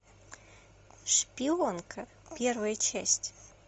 шпионка первая часть